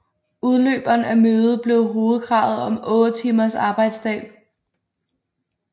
Udløberen af mødet blev hovedkravet om otte timers arbejdsdag